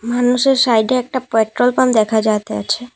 মানুষের সাইডে একটা পেট্রোল পাম্প দেখা যাইতাছে ।